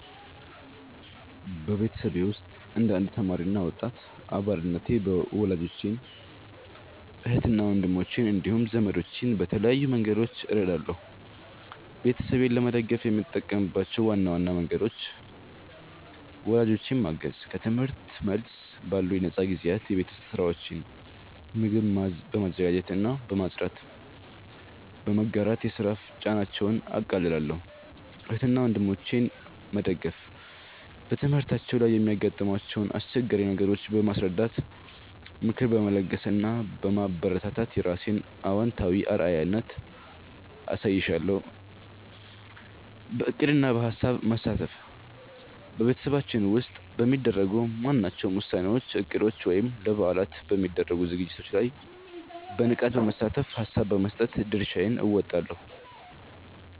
በቤተሰቤ ውስጥ እንደ አንድ ተማሪ እና ወጣት አባልነቴ ወላጆቼን፣ እህትና ወንድሞቼን እንዲሁም ዘመዶቼን በተለያዩ መንገዶች እረዳለሁ። ቤተሰቤን ለመደገፍ የምጠቀምባቸው ዋና ዋና መንገዶች፦ ወላጆቼን ማገዝ፦ ከትምህርት መልስ ባሉኝ ነፃ ጊዜያት የቤት ውስጥ ሥራዎችን (ምግብ በማዘጋጀትና ቤት በማጽዳት) በመጋራት የሥራ ጫናቸውን አቃልላለሁ። እህትና ወንድሞቼን መደገፍ፦ በትምህርታቸው ላይ የሚያጋጥሟቸውን አስቸጋሪ ነገሮች በማስረዳት፣ ምክር በመለገስ እና በማበረታታት የራሴን አዎንታዊ አርአያነት አሳይሻለሁ። በዕቅድና በሐሳብ መሳተፍ፦ በቤተሰባችን ውስጥ በሚደረጉ ማናቸውም ውሳኔዎች፣ እቅዶች ወይም ለበዓላት በሚደረጉ ዝግጅቶች ላይ በንቃት በመሳተፍና ሐሳብ በመስጠት የድርሻዬን እወጣለሁ።